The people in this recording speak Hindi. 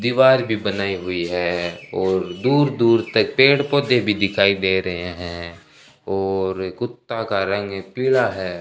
दीवार भी बनाई हुई है और दूर दूर तक पेड़ पौधे भी दिखाई दे रहे हैं और कुत्ता का रंग पीला है।